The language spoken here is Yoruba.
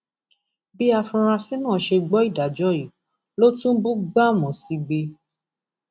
bí àfúrásì náà ṣe gbọ ìdájọ yìí ló tún bú gbámú sígbé